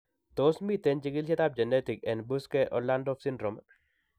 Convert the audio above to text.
Tos miten chikilisiet ab genetic en Buschke Ollendorff syndrome